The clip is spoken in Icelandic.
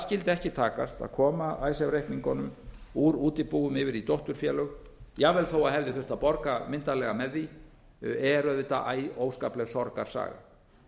skyldi ekki takast að koma icesave reikningunum úr útibúum yfir í dótturfélög jafnvel þó hefði þurft að borga myndarlega með því er auðvitað æ óskapleg sorgarsaga